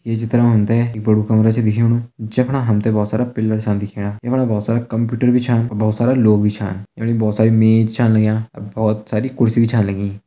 ये चित्र मा हम तैं एक बड़ु कमरा छ दिखेंणु जफणा हम तैं बहोत सारा पिलर च छ दिखेणा यफणा बहोत सारा कंप्यूटर भी छ बहोत सारा लोग भी छा बहोत सारी मेज छा लगयां और बहोत सारी कुर्सी छा लगीं।